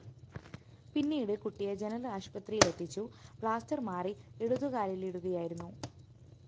പിന്നീട് കുട്ടിയെ ജനറൽ ആശുപത്രിയിലെത്തിച്ചു പ്ലാസ്റ്റർ മാറി ഇടതുകാലിലിടുകയായിരുന്നു